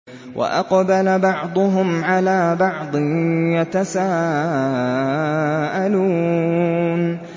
وَأَقْبَلَ بَعْضُهُمْ عَلَىٰ بَعْضٍ يَتَسَاءَلُونَ